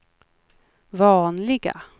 vanliga